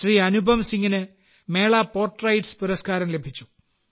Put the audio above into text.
അനുപം സിംഗിന് മേള പോർട്രെയ്റ്റ്സ് പുരസ്ക്കാരം ലഭിച്ചു